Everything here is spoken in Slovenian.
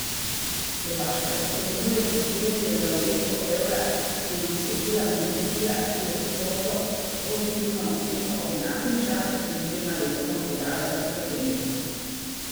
Slovaška izpolnjuje kriterije za uvedbo evra, je ugotovila komisija, ki je podobno pozitivno oceno ob enakem času pred dvema letoma podala za Slovenijo.